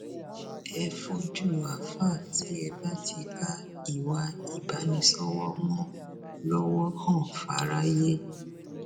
ẹ fojú àáfàá tí ẹ bá ti ka ìwà ìbánisọwọ mọ lọwọ hàn fáráyé